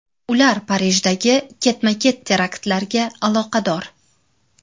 Ular Parijdagi ketma-ket teraktlarga aloqador.